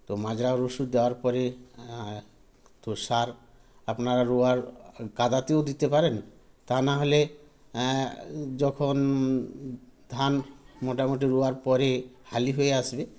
তো মাজরার ওষুধ দেওয়ার পরে এ তো সার আপনার রোয়ার কাঁদাতেও দিতে পারেন তানাহলে এ যখন, ধান মোটামুটি রোয়ার পরে হালি হয়ে আসবে